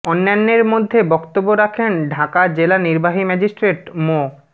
অন্যান্যের মধ্যে বক্তব্য রাখেন ঢাকা জেলা নির্বাহী ম্যাজিস্ট্রেট মো